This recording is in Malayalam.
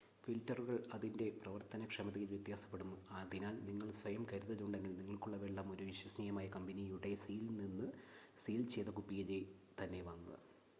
ഫിൽറ്ററുകൾ അതിൻ്റെ പ്രവർത്തനക്ഷമതയിൽ വ്യത്യാസപ്പെടും അതിനാൽ നിങ്ങൾക്ക് സ്വയം കരുതലുണ്ടെങ്കിൽ നിങ്ങൾക്കുള്ള വെള്ളം ഒരു വിശ്വസനീയമായ കമ്പനിയുടെ നിന്ന് സീൽ ചെയ്ത കുപ്പിയിലെ തന്നെ വാങ്ങുക